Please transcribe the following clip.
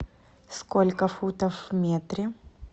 сколько футов в метре